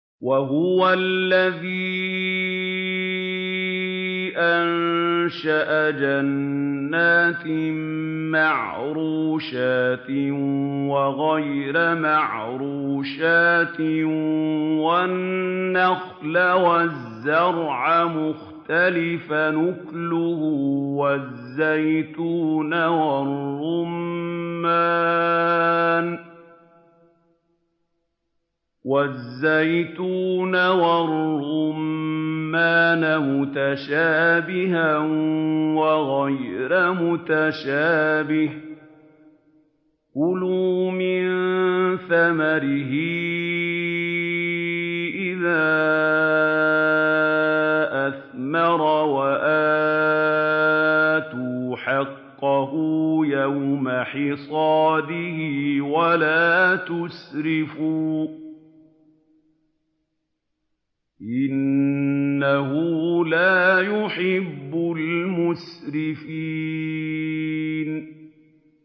۞ وَهُوَ الَّذِي أَنشَأَ جَنَّاتٍ مَّعْرُوشَاتٍ وَغَيْرَ مَعْرُوشَاتٍ وَالنَّخْلَ وَالزَّرْعَ مُخْتَلِفًا أُكُلُهُ وَالزَّيْتُونَ وَالرُّمَّانَ مُتَشَابِهًا وَغَيْرَ مُتَشَابِهٍ ۚ كُلُوا مِن ثَمَرِهِ إِذَا أَثْمَرَ وَآتُوا حَقَّهُ يَوْمَ حَصَادِهِ ۖ وَلَا تُسْرِفُوا ۚ إِنَّهُ لَا يُحِبُّ الْمُسْرِفِينَ